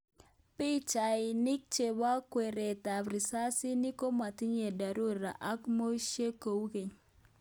Pichainik chebo kweret ab risasinik komatinye dharura ak meosiek kou keny